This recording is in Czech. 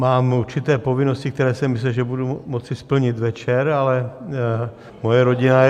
Mám určité povinnosti, které jsem myslel, že budu moci splnit večer, ale moje rodina je...